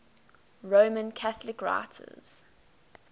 roman catholic writers